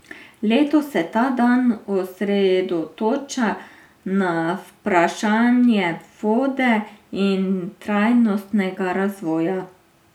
Letos se ta dan osredotoča na vprašanje vode in trajnostnega razvoja.